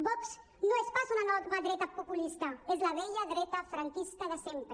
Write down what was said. vox no és pas una nova dreta populista és la vella dreta franquista de sempre